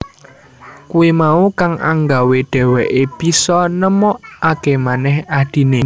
Kuwi mau kang anggawé dheweké bisa nemukakémanèh adhiné